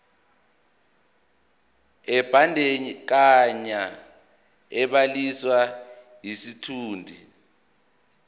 ebandakanya ubhaliso yesitshudeni